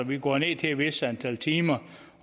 vi går ned til et vist antal timer